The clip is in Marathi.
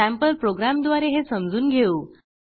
सँपल प्रोग्रॅमद्वारे हे समजून घेऊ